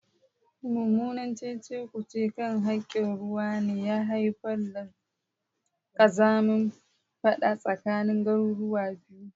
Mummunan cece-kuce kan hakkin ruwa ne ya haifar da kazamin fada tsakanin garuruwa biyu.